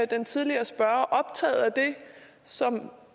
den tidligere spørger optaget af det som